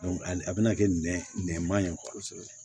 a bɛna kɛ nɛn ma ye kosɛbɛ